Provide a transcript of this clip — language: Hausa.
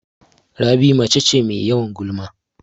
Rabi mace ce Mai yawan gulma